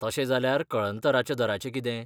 तशें जाल्यार कळंतराच्या दराचें कितें?